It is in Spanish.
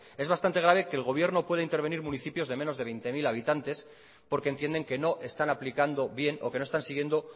es bastante grave que el gobierno pueda intervenir municipios de menos de veinte mil habitantes porque entienden que no están aplicando bien o que no están siguiendo